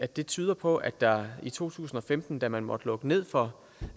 det tyder på at der i to tusind og femten da man måtte lukke ned for